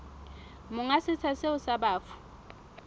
monga setsha seo sa bafu